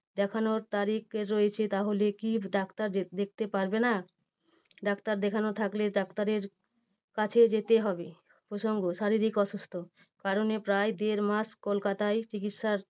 দেখানোর তারিখ রয়েছে তাহলে কি ডাক্তার দে~ দেখতে পারবে না? ডাক্তার দেখানোর থাকলে ডাক্তারের কাছে যেতে হবে প্রসঙ্গ শারীরিক অসুস্থ কারণ এই দেড় মাস কলকাতায় চিকিৎসা